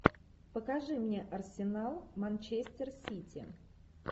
покажи мне арсенал манчестер сити